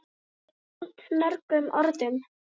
ásamt mörgum öðrum.